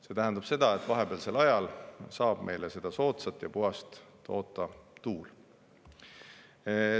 See tähendab seda, et vahepealsel ajal saab meile soodsat ja puhast toota tuul.